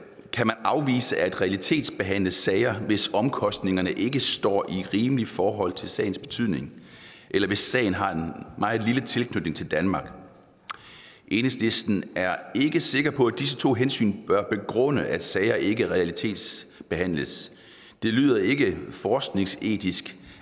kan afvise at realitetsbehandle sager hvis omkostningerne ikke står i rimeligt forhold til sagens betydning eller hvis sagen har en meget lille tilknytning til danmark enhedslisten er ikke sikker på at disse to hensyn bør begrunde at sager ikke realitetsbehandles det lyder ikke forskningsetisk